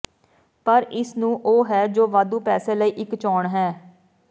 ਪਰ ਇਸ ਨੂੰ ਉਹ ਹੈ ਜੋ ਵਾਧੂ ਪੈਸੇ ਲਈ ਇੱਕ ਚੋਣ ਹੈ